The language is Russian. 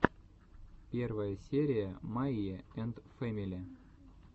первая серия майи энд фэмили